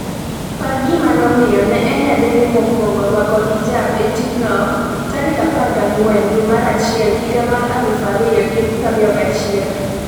par gima nomiyo ne en nyadendi mokwongo rwako hijab e tijno14 dwe mar achiel higa mar 2021